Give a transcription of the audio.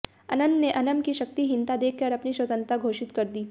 अन्नन ने अन्नम की शक्तिहीनता देखकर अपनी स्वतंत्रता घोषित कर दी